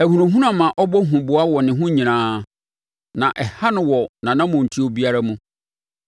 Ahunahuna ma ɔbɔ huboa wɔ ne ho nyinaa na ɛha no wɔ nʼanammɔntuo biara mu.